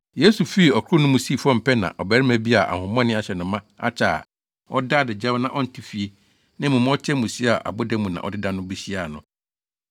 Yesu fii ɔkorow no mu sii fam pɛ na ɔbarima bi a ahonhommɔne ahyɛ no ma akyɛ a ɔda adagyaw na ɔnte fie, na mmom ɔte amusiei a aboda mu na ɔdeda no behyiaa no.